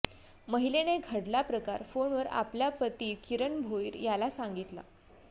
महिलेने घडला प्रकार फोनवरून आपल्या पती किरण भोईर याला सांगितला